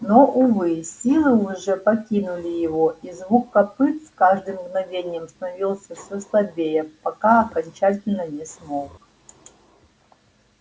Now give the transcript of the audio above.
но увы силы уже покинули его и звук копыт с каждым мгновением становился всё слабее пока окончательно не смолк